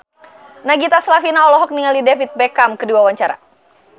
Nagita Slavina olohok ningali David Beckham keur diwawancara